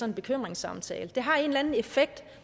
en bekymringssamtale det har en eller anden effekt